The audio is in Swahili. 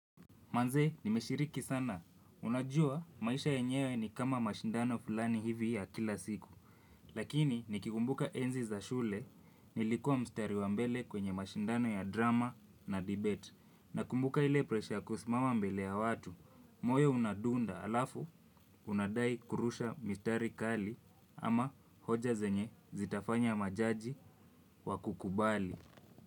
Manze, nimeshiriki sana, unajua maisha yenyewe ni kama mashindano fulani hivi ya kila siku. Lakini, nikikumbuka enzi za shule, nilikua mstari wa mbele kwenye mashindano ya drama na debate. Na kumbuka ile presha kusimama mbele ya watu. Moyo unadunda alafu, unadai kurusha mistari kali ama hoja zenye zitafanya majaji wakukubali.